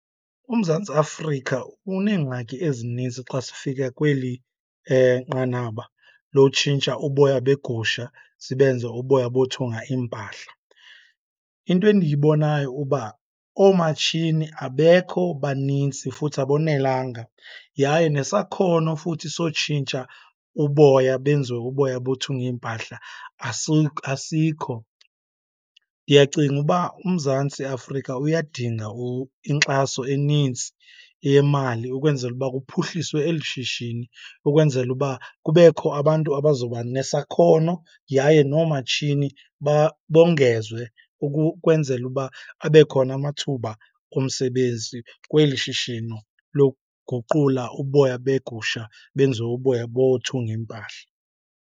UMzantsi Afrika uneengxaki ezininzi xa sifika kweli nqanaba lotshintsha uboya begusha sibenze uboya bothunga iimpahla. Into endiyibonayo uba oomatshini abekho, baninzi futhi abonelanga, yaye nesakhono futhi sotshintsha uboya benziwe uboya bothunga iimpahla asikho. Ndiyacinga uba uMzantsi Afrika uyadinga inkxaso enintsi yemali ukwenzela uba kuphuhliswe eli shishini ukwenzela uba kubekho abantu abazoba nesakhono, yaye nomatshini bongezwe ukwenzela uba abe khona amathuba omsebenzi kweli shishini lokuguqula uboya begusha benziwe uboya bothunga iimpahla.